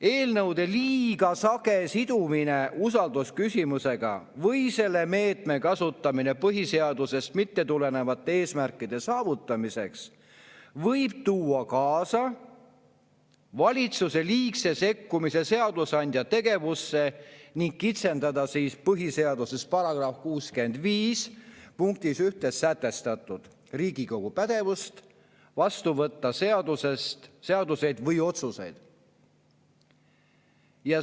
"Eelnõude liiga sage sidumine usaldusküsimusega või selle meetme kasutamine põhiseadusest mitte tulenevate eesmärkide saavutamiseks võib tuua kaasa valitsuse liigse sekkumise seadusandja tegevusse ning kitsendada põhiseaduse § 65 punktis 1 sätestatud Riigikogu pädevust vastu võtta seaduseid või otsuseid.